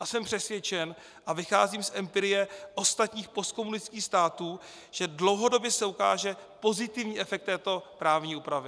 A jsem přesvědčen a vycházím z empirie ostatních postkomunistických států, že dlouhodobě se ukáže pozitivní efekt této právní úpravy.